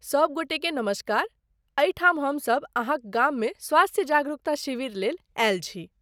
सब गोटेकेँ नमस्कार, एहिठाम हम सब अहाँक गाममे स्वास्थ्य जागरूकता शिविर लेल आयल छी।